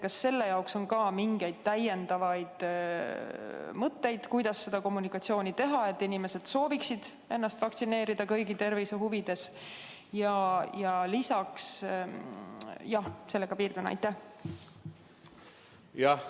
Kas on mingeid täiendavaid mõtteid, kuidas seda kommunikatsiooni teha, et inimesed sooviksid ennast kõigi tervise huvides vaktsineerida?